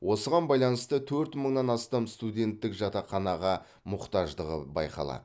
осыған байланысты төрт мыңнан астам студенттің жатақханаға мұқтаждығы байқалады